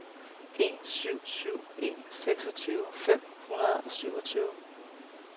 en syv syv en seksogtyve fem hundrede og syvogtyve